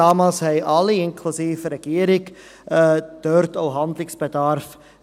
Damals sahen alle, inklusive Regierung, dort auch Handlungsbedarf.